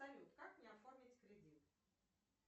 салют как мне оформить кредит